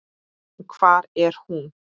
En hvar er hún?